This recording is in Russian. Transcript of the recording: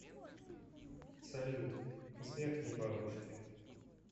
салют звякни бабушке